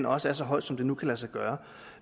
også er så høj som det nu kan lade sig gøre